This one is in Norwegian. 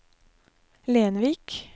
Lenvik